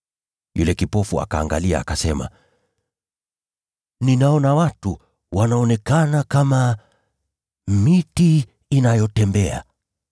Yule kipofu akaangalia, akasema, “Ninaona watu, wanaonekana kama miti inayotembea.”